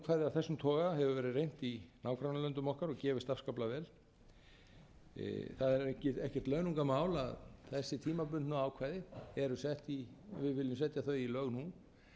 þessum toga hefur verið reynt í nágrannalöndum okkar og gefist afskaplega vel það er ekkert launungarmál að þessi tímabundnu ákvæði eru sett í við viljum setja þau í lög nú til þess